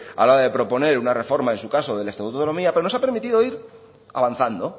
a la hora de proponer una reforma en su caso del estatuto de autonomía pero nos ha permitido ir avanzando